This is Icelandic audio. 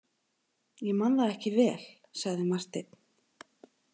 Ég man það ekki vel, sagði Marteinn.